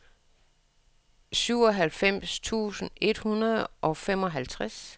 syvoghalvfems tusind et hundrede og femoghalvtreds